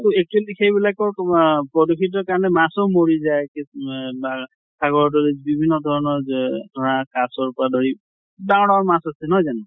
actually সেইবিলাকো তোমাৰ প্ৰদূষিত কাৰণে মাছো মৰি যায় মে মা সাগৰ তলিত বিভিন্ন ধৰণৰ গে ধৰা কাছৰ পৰা ধৰি ডাঙৰ ডাঙৰ মাছ আছে নহয় জানো?